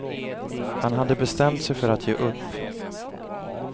Han hade bestämt sig för att ge upp.